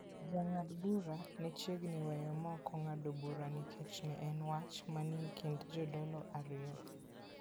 Jang'ad bura ne chiegni weyo maok ong'ad burano nikech ne en wach manie kind jodolo ariyo.